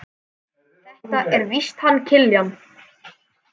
Þetta er víst hann Kiljan.